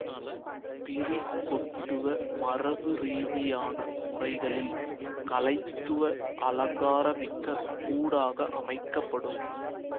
பிரி கொட்டுவ மரபு ரீதியான முறைகளில் கலைத்துவ அலங்காரமிக்க கூடாக அமைக்க படும்